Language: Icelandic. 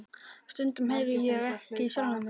Stundum heyri ég ekki í sjálfum mér.